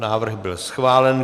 Návrh byl schválen.